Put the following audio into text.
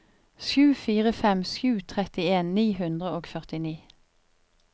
sju fire fem sju trettien ni hundre og førtini